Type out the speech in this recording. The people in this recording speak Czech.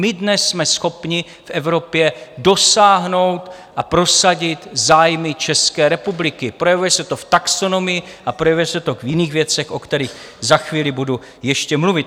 My dnes jsme schopni v Evropě dosáhnout a prosadit zájmy České republiky, projevuje se to v taxonomii a projevuje se to v jiných věcech, o kterých za chvíli budu ještě mluvit.